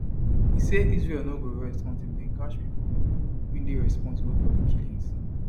e say israel no go rest until dem catch pipo wey dey responsible for di killings